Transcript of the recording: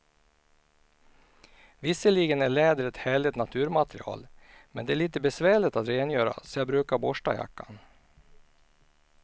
Visserligen är läder ett härligt naturmaterial, men det är lite besvärligt att rengöra, så jag brukar borsta jackan.